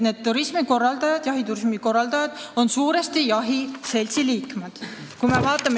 Need jahiturismi korraldajad on suuresti jahimeeste seltsi liikmed.